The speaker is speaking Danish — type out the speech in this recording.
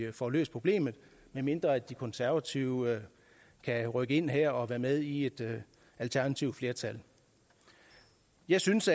vi får løst problemet medmindre de konservative kan rykke ind her og være med i et alternativt flertal jeg synes